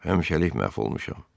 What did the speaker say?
həmişəlik məhv olmuşam.